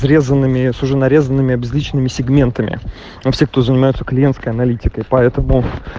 срезанными с уже нарезанными обезличенными сегментами но все кто занимается клиентская аналитикой поэтому